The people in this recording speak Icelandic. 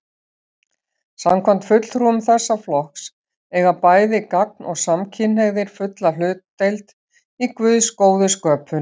Samkvæmt fulltrúum þessa flokks eiga bæði gagn- og samkynhneigðir fulla hlutdeild í Guðs góðu sköpun.